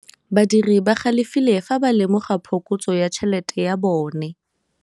Badiri ba galefile fa ba lemoga phokotsô ya tšhelête ya bone.